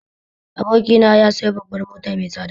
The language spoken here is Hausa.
Abokina sayo babbar mota mai tsada